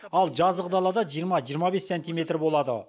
ал жазық далада жиырма жиырма бес сантиметр болады